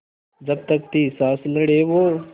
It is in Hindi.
जब तक थी साँस लड़े वो